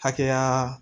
Hakɛya